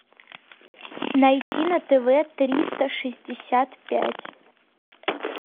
найти на тв триста шестьдесят пять